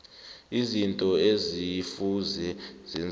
izinto ekufuze zenziwe